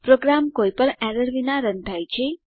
programme કોઈપણ errors વિના run થાય છે